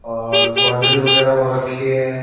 और बाउंड्री वगैरह हो रखी है।